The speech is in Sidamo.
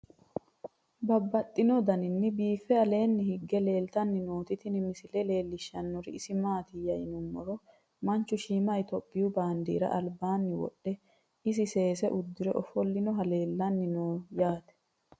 Babaxxittinno daninni biiffe aleenni hige leelittannotti tinni misile lelishshanori isi maattiya yinummoro manchu shiimma ithiopiyu baandeera alibbanni wodhe, isi seese udirre offolinohu leelanni noo yaatte